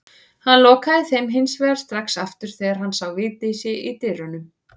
Hann lokaði þeim hins vegar strax aftur þegar hann sá Vigdísi í dyrunum.